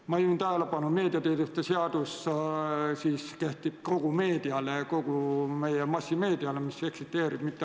Ma juhin tähelepanu, et meediateenuste seadus kehtib kogu meedia kohta, mis eksisteerib.